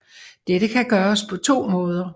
Dette kan gøres på to måder